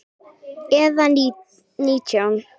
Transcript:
Eða nítján?